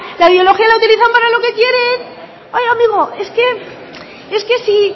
la ideología la utilizan para lo que quieren oiga amigo es que si